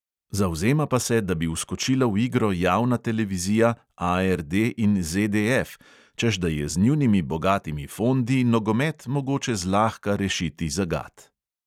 Zavzema pa se, da bi vskočila v igro javna televizija, ARD in ZDF, češ da je z njunimi bogatimi fondi nogomet mogoče zlahka rešiti zagat.